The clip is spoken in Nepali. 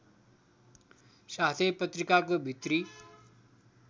साथै पत्रिकाको भित्री